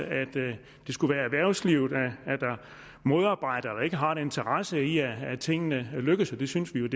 at det skulle være erhvervslivet der modarbejder eller ikke har en interesse i at tingene lykkes det synes vi